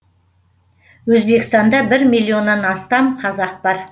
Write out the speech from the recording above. өзбекстанда бір миллионнан астам қазақ бар